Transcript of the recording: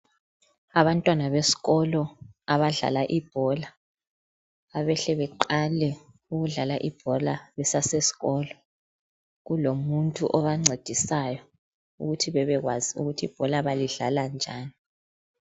abantwana besikolo abadlala ibhola abehle beqale ukudlala ibhola besase sikolo kulomuntu obancedisayo ukuthi ebebkwazi ukuthi ibhola balidlala njani